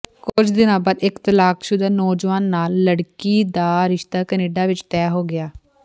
ਕੁਝ ਦਿਨਾਂ ਬਾਅਦ ਇੱਕ ਤਲਾਕਸ਼ੁਦਾ ਨੌਜਵਾਨ ਨਾਲ ਲੜਕੀ ਦਾ ਰਿਸ਼ਤਾ ਕੈਨੇਡਾ ਵਿੱਚ ਤੈਅ ਹੋ ਗਿਆ